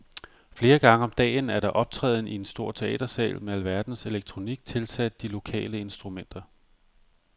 Flere gange om dagen er der optræden i en stor teatersal med alverdens elektronik tilsat de lokale instrumenter.